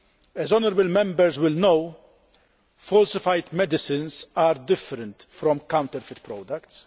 As Members will know, falsified medicines are different from counterfeit products.